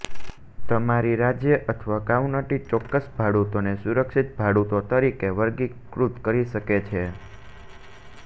તમારી રાજ્ય અથવા કાઉન્ટી ચોક્કસ ભાડૂતોને સુરક્ષિત ભાડૂતો તરીકે વર્ગીકૃત કરી શકે છે